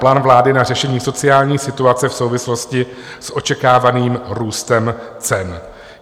Plán vlády na řešení sociální situace v souvislosti s očekávaným růstem cen.